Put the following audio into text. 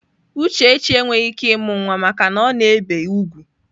Uchechi enweghị ike ịmụ nwa maka na ọ na-ebi úgwù.